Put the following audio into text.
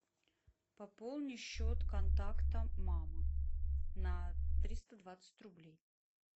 пополни счет контакта мама на триста двадцать рублей